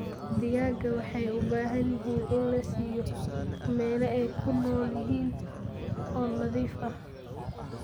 Digaagga waxay u baahan yihiin in la siiyo meelo ay ku nool yihiin oo nadiif ah.